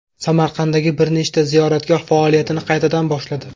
Samarqanddagi bir nechta ziyoratgoh faoliyatini qaytadan boshladi.